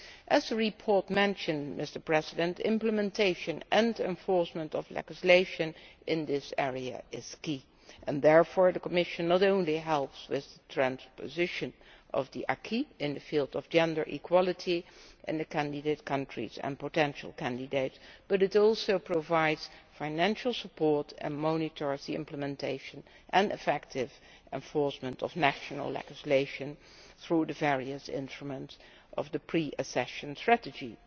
As the report mentions, the implementation and enforcement of legislation in this area is key, and therefore the Commission not only helps with transposition of the acquis in the field of gender equality in the candidate countries and potential candidate countries but also provides financial support and monitors the implementation and effective enforcement of national legislation through the various instruments of the pre accession strategies.